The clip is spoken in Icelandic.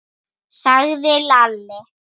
sagði Lalli.